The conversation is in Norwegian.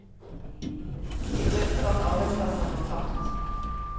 De frykter at arbeidsplasser går tapt.